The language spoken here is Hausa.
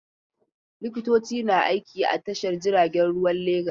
Likitoci na aiki a Tashar jiragen ruwan Legas.